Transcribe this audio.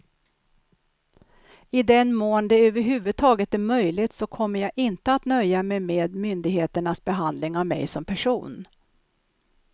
I den mån det över huvud taget är möjligt så kommer jag inte att nöja mig med myndigheternas behandling av mig som person.